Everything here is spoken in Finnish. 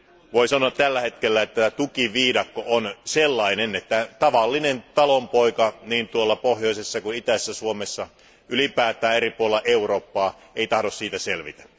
Voidaan sanoa, että tällä hetkellä tukiviidakko on sellainen, että tavallinen talonpoika niin pohjoisessa kuin itäisessä Suomessakin, ylipäätään eri puolella Eurooppaa, ei tahdo siitä selvitä.